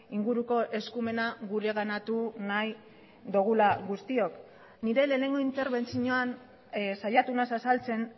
inguruko eskumena gureganatu nahi dugula guztiok nire lehenengo interbentzioan saiatu naiz azaltzen